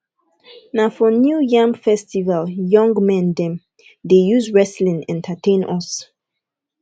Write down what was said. for new yam festival young men dem dey use wrestling entertain us